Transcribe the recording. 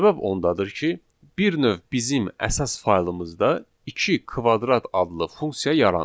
Səbəb ondadır ki, bir növ bizim əsas faylımızda iki kvadrat adlı funksiya yaranır.